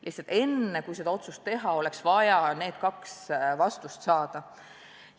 Lihtsalt enne, kui see otsus teha, oleks vaja neile kahele küsimusele vastused saada.